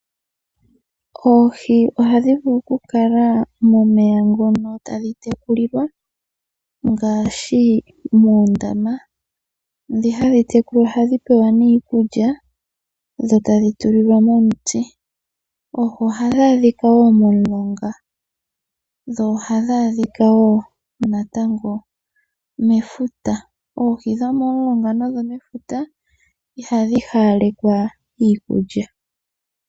Oohi ohadhi vulu okukala momeya ngono tadhi tekulilwa ngaashi muundama. Ndhi hadhi tekulwa ohadhi tulilwa mo nee iikulya dho tadhi tulilwa mo omiti. Oohi ohadhi adhika wo momulonga dho ohadhi adhika wo natango mefuta. Oohi dhomomulonga nodhomefuta ihadhi hawalekwa iikulya.